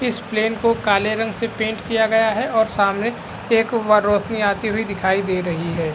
इस प्लेन को काले रंग से पेंट किया गया है और सामने एक व रोशनी आती हुई दिखाई दे रही है।